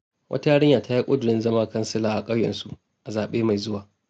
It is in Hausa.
Wata yarinya ta yi ƙudurin zama kansila a ƙauyensu a zaɓe mai zuwa..